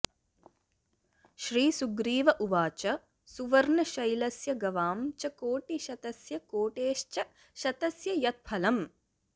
श्रीसुग्रीव उवाच सुवर्णशैलस्य गवां च कोटिशतस्य कोटेश्च शतस्य यत्फलम्